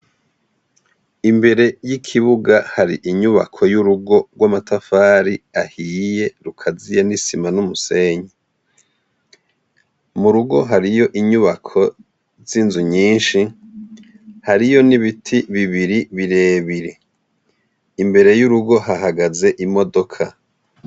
imbere y'ikibuga hari inyubako y'urugo rw'amatafari ahiye rukaziye n'isima n'umusenyi mu rugo hariyo inyubako z'inzu nyinshi hariyo n'ibiti bibiri birebire imbere y'urugo hahagaze imodoka.